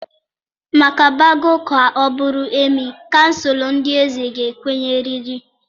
Maka Bago ka ọ bụrụ Emịee kansụl ndị eze ga-ekwenyerịrị.